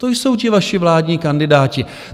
To jsou ti vaši vládní kandidáti.